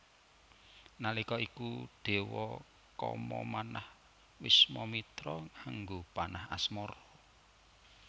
Nalika iku Dewa Kama manah Wiswamitra nganggo panah asmara